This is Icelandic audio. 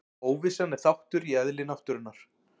Óvissan er þáttur í eðli náttúrunnar.